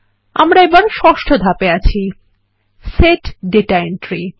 আমরা এখন ষষ্ঠ ধাপে আছি160 সেট ডাটা এন্ট্রি